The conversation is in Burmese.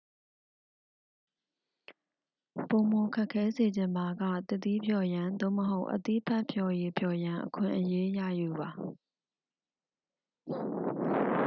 ပိုမို ခက်ခဲစေချင်ပါက သစ်သီးဖျော်ရန် သို့မဟုတ် အသီးဖတ်ဖျော်ရည်ဖျော်ရန် အခွင့်အရေး ရယူပါ